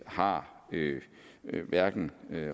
har hverken